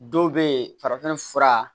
Dɔw bɛ yen farafin fura